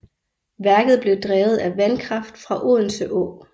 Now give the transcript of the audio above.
Værket blev drevet af vandkraft fra Odense Å